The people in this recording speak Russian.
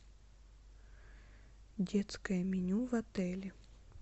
детское меню в отеле